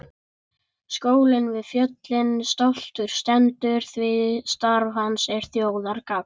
Skólinn við fjöllin stoltur stendur því starf hans er þjóðargagn.